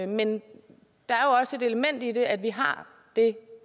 men der er også det element i det at vi har det